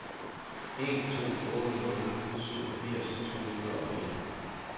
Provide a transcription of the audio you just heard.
en to otte nul syvogfirs to hundrede og en